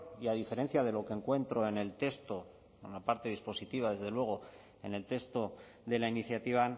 y a diferencia de lo que encuentro en el texto en la parte dispositiva desde luego en el texto de la iniciativa